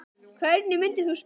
Hvernig myndir þú spila?